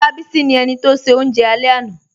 Olábísí ni ènì tó ṣẹ̀ ọ̀unje alẹ̀ lánà